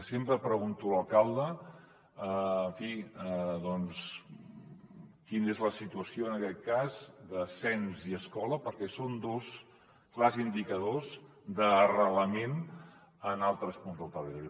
sempre pregunto a l’alcalde quina és la situació en aquest cas de cens i escola perquè són dos clars indicadors d’arrelament en altres punts del territori